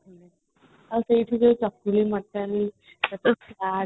ଆଉ ସେଇଠି ଯୋଉ ମାତଳି